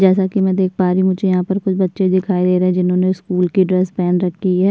जैसा कि मैं देख पा रही हूँ। मुझे यहाँ पर कुछ बच्चे दिखाई दे रहे हैं। जिन्होंने स्कूल की ड्रेस पहन रखी है।